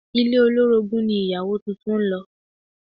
Ilé olórogún ni ìyàwó tuntun ń lọ